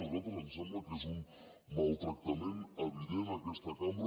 a nosaltres ens sembla que és un maltractament evident a aquesta cambra